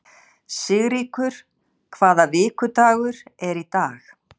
Sigríkur, hvaða vikudagur er í dag?